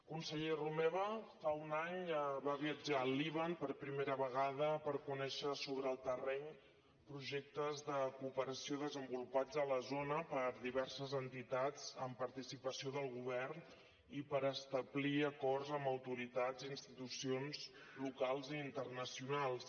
conseller romeva fa un any va viatjar al líban per primera vegada per conèixer sobre el terreny projectes de cooperació desenvolupats a la zona per diverses entitats amb participació del govern i per establir acords amb autoritats i institucions locals i internacionals